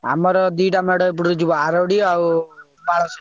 ଆମର ଦିଟା ଏପଟରୁ ଯିବ ଆରଡି ଆଉ ପାଳସାହି।